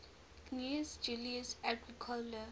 gnaeus julius agricola